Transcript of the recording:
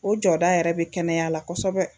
O jɔda yɛrɛ bɛ kɛnɛya la kosɛbɛ